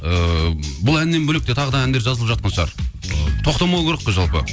ыыы бұл әннен бөлек те тағы да әндер жазылып жатқан шығар ы тоқтамау керек қой жалпы